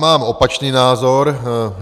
Mám opačný názor.